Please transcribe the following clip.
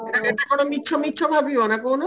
ଏଟା କେତେ ବଡ ମିଛ ମିଛ ଭାବିବାନା କହୁନା